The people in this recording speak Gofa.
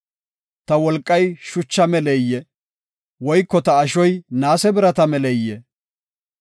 Ta wolqay shucha meleyee? Woyko ta ashoy naase birata meleyee?